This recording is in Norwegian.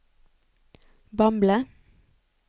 Bamble